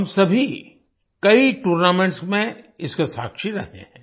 हम सभी कई टूर्नामेंट्स में इसके साक्षी रहे हैं